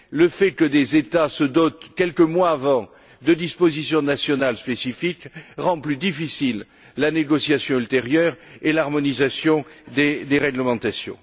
Le fait que des États se dotent, quelques mois avant, de dispositions nationales spécifiques rend plus difficile la négociation ultérieure et l'harmonisation des réglementations.